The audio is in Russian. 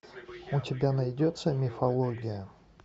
у тебя найдется мифология